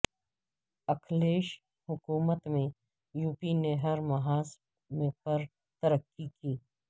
اکھلیش حکومت میں یوپی نے ہر محاذ پر ترقی کی